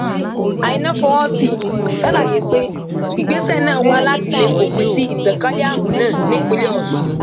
àìna fọwọ sí ṣàlàyé pé ìgbésẹ náà wà láti lè fòpin sí ìtànkalẹ àrùn náà nípínlẹ ọsùn